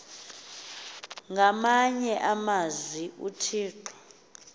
ngamanye amazwi uthixo